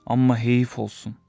Amma heyif olsun.